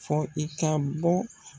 Fɔ i ka bɔ.